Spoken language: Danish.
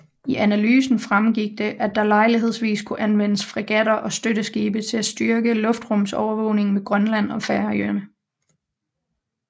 I analysen fremgik det at der Lejlighedsvis kunne anvendes fregatter og støtteskibe til at styrke luftrumsovervågningen ved Grønland og Færøerne